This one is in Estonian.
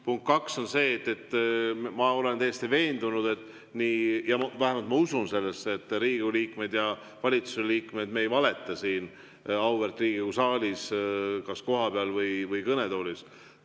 Punkt kaks on see, et ma olen täiesti veendunud, vähemalt ma usun sellesse, et Riigikogu liikmed ja valitsuse liikmed ei valeta siin auväärt Riigikogu saalis kas kohapeal või kõnetoolis.